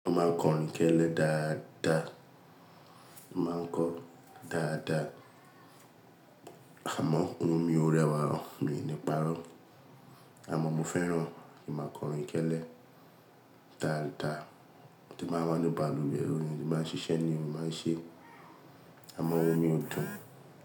Mó máa n kọrin gélé dáadáa, mó máa ń kọ dáadáa. Àmọ́ òun mi ò rẹwà ò, mi ò ní parọ́. Àmọ́ mo fẹ́ràn kín máa kọrin gélé dààdàà tí máa ń bá ní baluwe, orin ni máa ń ṣiṣẹ́ ni ó máa ń ṣe. Àmọ́ òun mi ó dùn.